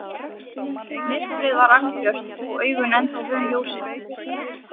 Myrkrið var algjört og augun ennþá vön ljósinu.